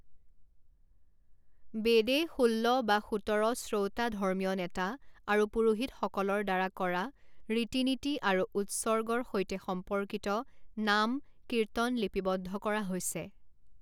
বেদে ষোল্ল বা সোতৰ শ্ৰৌটা ধৰ্মীয় নেতা আৰু পুৰোহিতসকলৰ দ্বাৰা কৰা ৰীতি নীতি আৰু উৎসৰ্গৰ সৈতে সম্পৰ্কিত নাম কীৰ্তন লিপিবদ্ধ কৰা হৈছে।